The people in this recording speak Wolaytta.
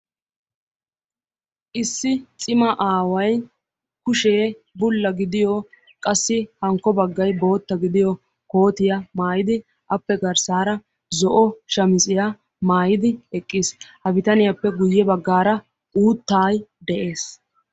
Issi cima aaway kushee bulla gidiyo qassi hankko baggay bootta gidiyo kootiya maayidi appe garssaara zo'o shamiziya maayidi eqqiis. Ha bitaniyappe guyye baggaara uuttaay de'ees.